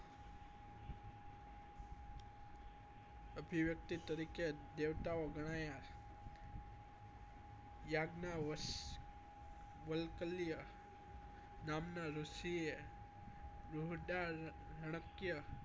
અભિવ્યક્તિ તરીકે દેવતાઓ ગણ્યાયા ગ્નાવ્શ વાલ્કાલીયા નામ નાં ઋષીએ રુહ્દારાનાક્ય